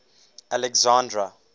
alexandra